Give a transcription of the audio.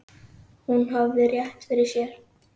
Hún hafði rétt fyrir sér.